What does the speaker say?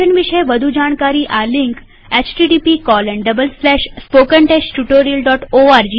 mission વિષે વધુ જાણકારી આ લિંક httpspoken tutorialorgNMEICT Intro ઉપર ઉપલબ્ધ છે